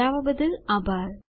જોડાવા બદ્દલ આભાર